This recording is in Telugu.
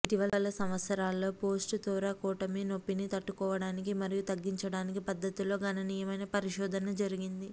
ఇటీవలి సంవత్సరాలలో పోస్ట్ థోరాకోటోమీ నొప్పిని తట్టుకోవటానికి మరియు తగ్గించడానికి పద్ధతుల్లో గణనీయమైన పరిశోధన జరిగింది